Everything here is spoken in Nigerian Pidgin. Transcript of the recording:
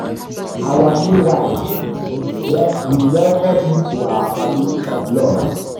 our new wife we um we you oo welcome um to our family um of love.